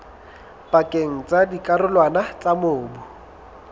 pakeng tsa dikarolwana tsa mobu